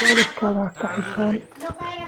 Waalidkaa ha ka xishoon.